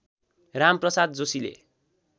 राम प्रसाद जोशीले